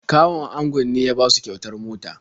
Kawun angon ne ya basu kyautar mota.